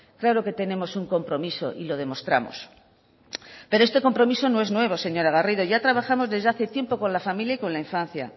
claro que tenemos un compromiso y lo demostramos pero este compromiso no es nuevo señora garrido ya trabajamos desde hace tiempo con la familia y con la infancia